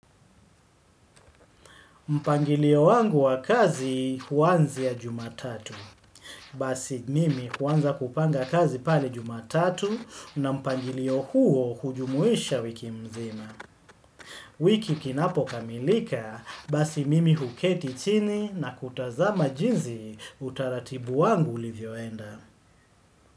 Mpangilio wangu wa kazi huanzia jumatatu. Basi mimi huanza kupanga kazi pale jumatatu na mpangilio huo hujumuisha wiki mzima. Wiki kinapokamilika, basi mimi huketi chini na kutazama jinzi utaratibu wangu ulivyoenda.